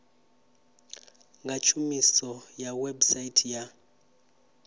nga tshumiso ya website ya